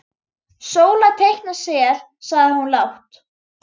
Sóla teikna sel, sagði hún lágt.